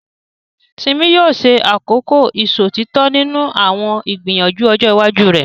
Simi yóò ṣe àkọ́kọ́ ìṣòtítọ́ nínú àwọn ìgbìyànjú ọjọ́ iwájú rẹ̀.